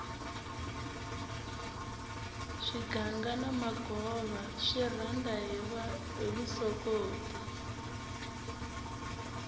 swiganga na magova swi rhanda hi vusokoti